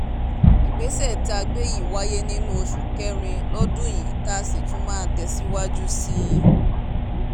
ìgbésẹ̀ tá a gbé yìí wáyé nínú oṣù kẹrin lọ́dún yìí tá a sì tún máa tẹ̀síwájú sí i